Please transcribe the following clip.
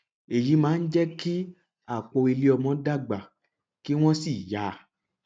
èyí máa ń jẹ kí àpò ilé ọmọ dàgbà kí wọn sì ya